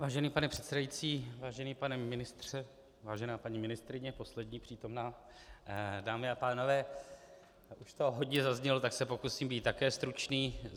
Vážený pane předsedající, vážený pane ministře, vážená paní ministryně, poslední přítomná, dámy a pánové, už toho hodně zaznělo, tak se pokusím být také stručný.